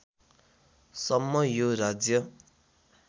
सम्म यो राज्य